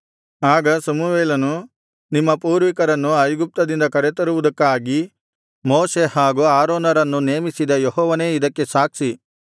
ಆಗ ಸಮುವೇಲನು ನಿಮ್ಮ ಪೂರ್ವಿಕರನ್ನು ಐಗುಪ್ತದಿಂದ ಕರೆತರುವುದಕ್ಕಾಗಿ ಮೋಶೆ ಹಾಗೂ ಆರೋನರನ್ನು ನೇಮಿಸಿದ ಯೆಹೋವನೇ ಇದಕ್ಕೆ ಸಾಕ್ಷಿ